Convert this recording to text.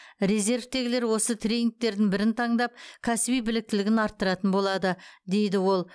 резервтегілер осы тренингтердің бірін таңдап кәсіби біліктілігін арттыратын болады дейді ол